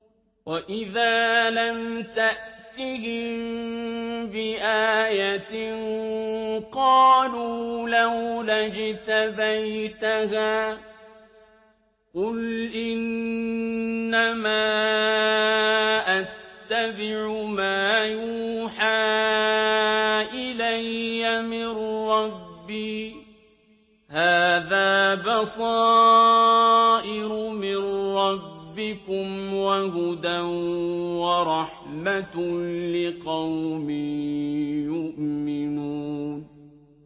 وَإِذَا لَمْ تَأْتِهِم بِآيَةٍ قَالُوا لَوْلَا اجْتَبَيْتَهَا ۚ قُلْ إِنَّمَا أَتَّبِعُ مَا يُوحَىٰ إِلَيَّ مِن رَّبِّي ۚ هَٰذَا بَصَائِرُ مِن رَّبِّكُمْ وَهُدًى وَرَحْمَةٌ لِّقَوْمٍ يُؤْمِنُونَ